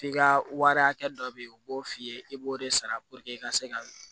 F'i ka wari hakɛ dɔ be ye u b'o f'i ye i b'o de sara i ka se ka